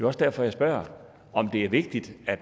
også derfor jeg spørger om det er vigtigt at